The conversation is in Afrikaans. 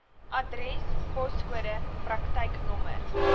adres poskode praktyknommer